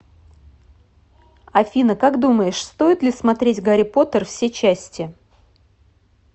афина как думаешь стоит ли смотреть гарри поттер все части